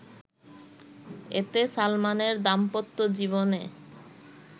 এতে সালমানের দাম্পত্যজীবনে